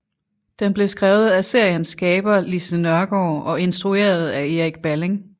Den blev skrevet af seriens skaber Lise Nørgaard og instrueret af Erik Balling